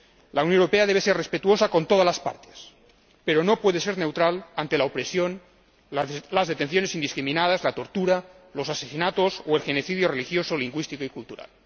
La Unión Europea debe ser respetuosa con todas las partes, pero no puede ser neutral ante la opresión, las detenciones indiscriminadas, la tortura, los asesinatos o el genocidio religioso, lingüístico y cultural.